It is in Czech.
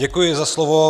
Děkuji za slovo.